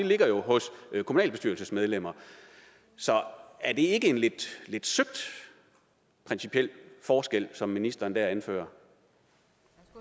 ligger hos kommunalbestyrelsesmedlemmer så er det ikke en lidt søgt principiel forskel som ministeren der anfører